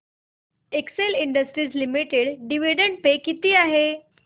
Excel Industries limited dividend pay किती आहे